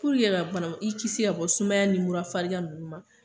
Puruke ka bana i kisi ka bɔ sumaya ni murafarigan ninnu ma.